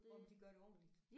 Og om de gør det ordenligt